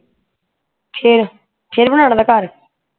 ਫੇਰ ਫੇਰ ਬਨਾਣਾ ਥਾ ਘਰ